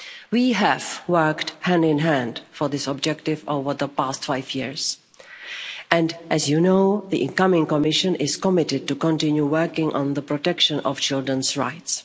We have worked hand in hand for this objective over the past five years, and as you know, the incoming Commission is committed to continue working on the protection of children's rights.